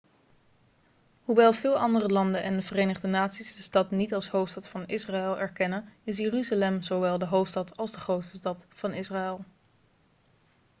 hoewel veel andere landen en de verenigde naties de stad niet als hoofdstad van israël erkennen is jeruzalem zowel de hoofdstad als de grootste stad van israël